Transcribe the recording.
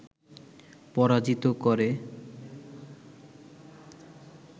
পরাজিত করে